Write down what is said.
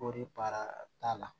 Kɔɔri baara t'a la